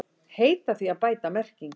Heita því að bæta merkingar